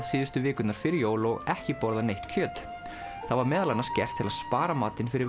síðustu vikurnar fyrir jól og ekki borðað neitt kjöt það var meðal annars gert til að spara matinn fyrir